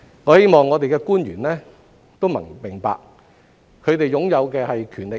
我希望我們的官員都明白，他們擁有的是權力。